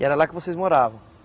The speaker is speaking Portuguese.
E era lá que vocês moravam.